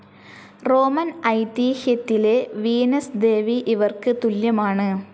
Roman ഐതീഹ്യത്തിലെ Venus ദേവി ഇവർക്ക് തുല്യമാണ്.